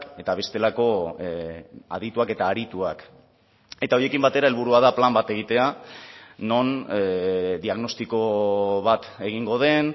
eta bestelako adituak eta arituak eta horiekin batera helburua da plan bat egitea non diagnostiko bat egingo den